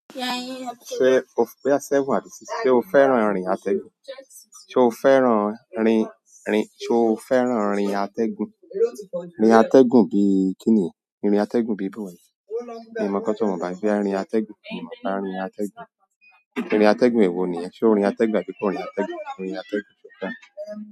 Ṣé o fẹ́, ó ṣeun àti ṣéṣé, ṣe o fẹ́ràn rin atẹ́gùn? Ṣe o fẹ́ràn rin, rin, ṣe o fẹ́ràn rin atẹ́gùn? Rin atẹ́gùn bíi kí ni? Rin atẹ́gùn bií bóo? Mi o mọ kan tí mọ̀, bàbá yẹ́ rin atẹ́gùn, mi ò mọ̀ ká rin atẹ́gùn. Rin atẹ́gùn èwo ni yẹn. Ṣé orin atẹ́gùn àbí kó orin atẹ́gùn? Orin atẹ́gùn ṣe ó dára.